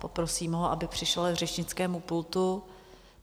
Poprosím ho, aby přišel k řečnickému pultu.